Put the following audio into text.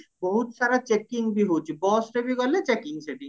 ବହୁତ ସାରା checking ବି ହଉଚି busରେ ବି ଗଲେ checking ସେଠି